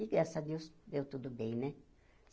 E graças a Deus, deu tudo bem, né?